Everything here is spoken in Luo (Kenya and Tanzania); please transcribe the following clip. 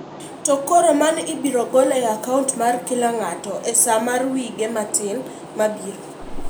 To koro, mano ibiro gol e akaunt mar kila ng'ato, e saa mar wige matin mabiro.